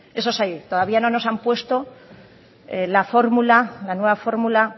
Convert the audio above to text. eso sí todavía no nos han puesto la fórmula la nueva fórmula